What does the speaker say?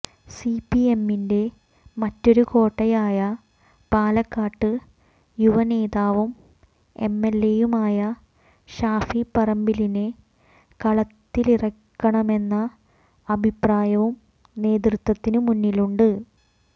സിപിഎമ്മിന്റെ മറ്റൊരു കോട്ടയായ പാലക്കാട്ട് യുവനേതാവും എംഎൽഎയുമായ ഷാഫി പറമ്പിലിനെ കളത്തിലിറക്കണമെന്ന അഭിപ്രായവും നേതൃത്വത്തിനു മുന്നിലുണ്ട്